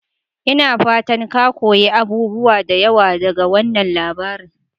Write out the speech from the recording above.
Ina fatan ka koyi abubuwa da yawa daga wannan labarin?